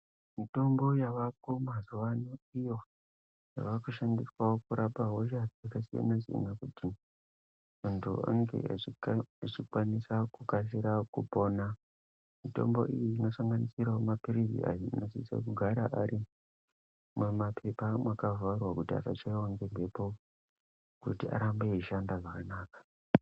Mitombo yavako mazuva ano iyo yavakushandiswavo kurapa hosha dzakasiyana-siyana. Kuti muntu anenge achikwanisa kukasira kupona. Mitombo iyi inosanganisiravo maphirizi ayo anosisa kugara ari mumapepa mwakavharwa kuti asachaive ngemhepo kuti arambe eishanda zvakanaka.